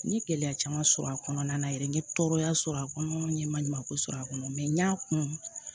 N ye gɛlɛya caman sɔrɔ a kɔnɔna na yɛrɛ n ye tɔɔrɔya sɔrɔ a kɔnɔ n ye maɲumanko sɔrɔ a kɔnɔ n y'a kun